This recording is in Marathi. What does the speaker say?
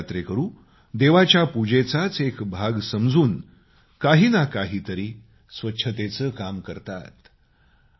प्रत्येक यात्रेकरू देवाच्या पूजेचाच एक भाग समजून काही ना काही तरी स्वच्छतेचं काम करतात